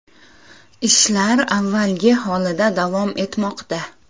Ishlar avvalgi holida davom etmoqda.